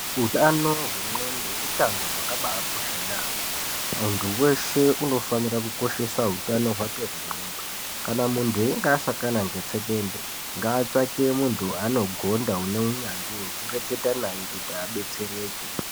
Hutano wengxondo, hutano wakabakosha yamo. Muntu weshe unofanire kukoshese hutano wake wegxondo. Kana muntu inge asakana ngetsvekwende ngatsvake muntu onogonda aneunyandzvi wekureketa naye kuti abetsereke.